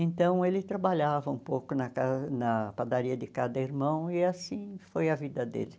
Então ele trabalhava um pouco na ca na padaria de cada irmão e assim foi a vida dele.